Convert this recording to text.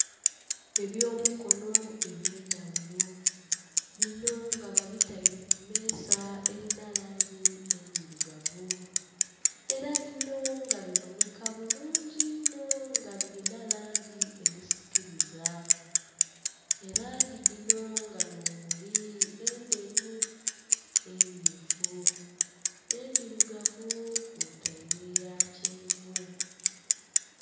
Eby'omukono eby'endhaghulo bino nga babitaire kumeeza erina langi endhirugavu era bino nga biboneka bulungi inho nga birina langi edhisikiriza. Elangi dhino nga nh'omuli endheru, emmyufu, endhirugavu kwotaire eya kyenvu.